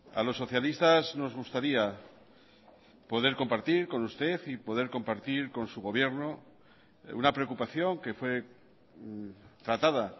a los socialistas nos gustaría poder compartir con usted y poder compartir con su gobierno una preocupación que fue tratada